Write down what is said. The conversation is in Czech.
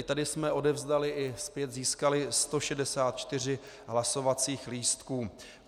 I tady jsme odevzdali i zpět získali 164 hlasovacích lístků.